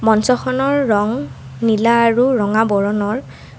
মঞ্চখনৰ ৰং নীলা আৰু ৰঙা বৰণৰ।